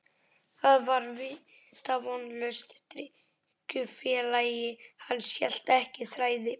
Það var vitavonlaust, drykkjufélagi hans hélt ekki þræði.